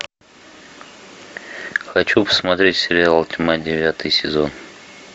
хочу посмотреть сериал тьма девятый сезон